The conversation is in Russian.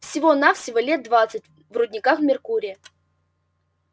всего-навсего лет двадцать в рудниках меркурия